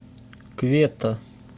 кветта